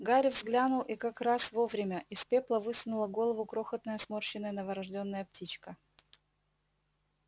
гарри взглянул и как раз вовремя из пепла высунула голову крохотная сморщенная новорождённая птичка